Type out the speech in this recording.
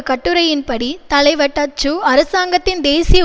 கட்டுரையின்படி தலைவர் டச்சு அரசாங்கத்தின் தேசிய